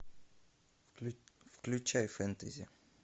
включай фентази